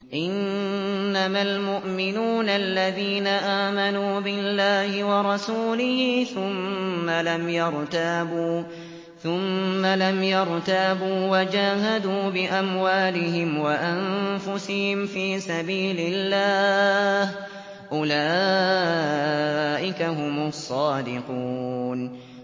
إِنَّمَا الْمُؤْمِنُونَ الَّذِينَ آمَنُوا بِاللَّهِ وَرَسُولِهِ ثُمَّ لَمْ يَرْتَابُوا وَجَاهَدُوا بِأَمْوَالِهِمْ وَأَنفُسِهِمْ فِي سَبِيلِ اللَّهِ ۚ أُولَٰئِكَ هُمُ الصَّادِقُونَ